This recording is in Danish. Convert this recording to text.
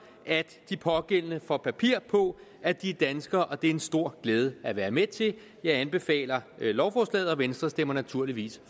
at de pågældende får papir på at de er danskere og det er en stor glæde at være med til jeg anbefaler lovforslaget og venstre stemmer naturligvis